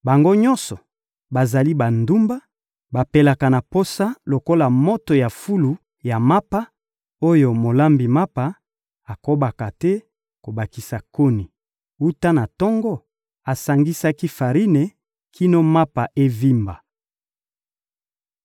Bango nyonso bazali bandumba, bapelaka na posa lokola moto ya fulu ya mapa, oyo molambi mapa akobaka te kobakisa koni, wuta na tango asangisaki farine kino mapa evimba.